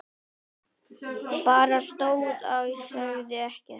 Bara stóð og sagði ekkert.